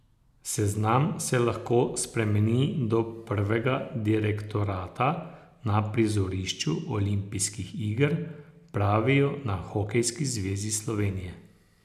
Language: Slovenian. Seznam se lahko spremeni do prvega direktorata na prizorišču olimpijskih iger, pravijo na Hokejski zvezi Slovenije.